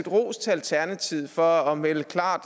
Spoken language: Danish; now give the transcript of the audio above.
rose alternativet for at melde klart